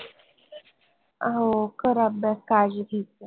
अं हो कर अभ्यास काळजी घेत जा